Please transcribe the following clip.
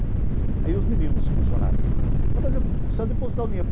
Aí os meninos funcionários, não, mas eu preciso depositar o dinheiro.